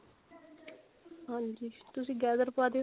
ਹਾਂਜੀ ਤੁਸੀਂ gather ਪਵਾ ਦਿਓ